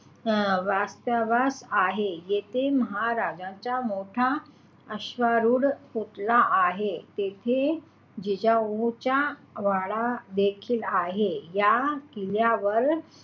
अं वास्तव्यास आहे. येथे महाराज्यांचा मोठा अश्वारूढ पुतळा आहे येथे जिजाऊंचा वाडा देखील आहे या किल्ल्यावर,